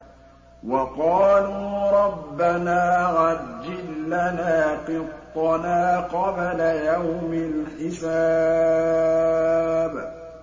وَقَالُوا رَبَّنَا عَجِّل لَّنَا قِطَّنَا قَبْلَ يَوْمِ الْحِسَابِ